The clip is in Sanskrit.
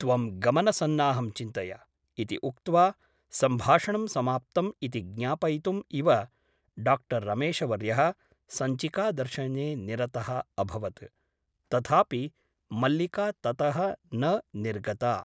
त्वं गमनसन्नाहं चिन्तय ' इति उक्त्वा सम्भाषणं समाप्तम् इति ज्ञापयितुम् इव डा रमेशवर्यः सञ्चिकादर्शने निरतः अभवत् । तथापि मल्लिका ततः न निर्गता ।